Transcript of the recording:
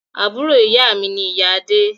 Àbúrò ìyá mi ni ìyá Adé